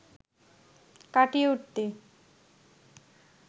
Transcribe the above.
কাটিয়ে উঠতে